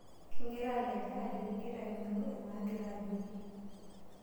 Kigira alej ajo eji igira aning'u enaagira ajoki?